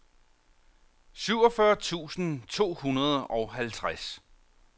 syvogfyrre tusind to hundrede og halvtreds